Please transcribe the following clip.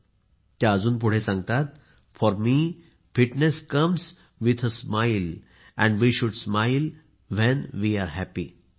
आणि त्या अजून पुढे सांगतात for me fitness comes with a smiles and we should smile when we are happy